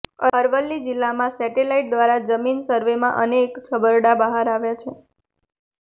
અરવલ્લી જિલ્લામાં સેટેલાઇટ દ્વારા જમીન સર્વેમાં અનેક છબરડા બહાર આવ્યા છે